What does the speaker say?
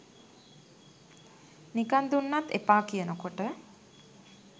නිකං දුන්නත් එපා කියනකොට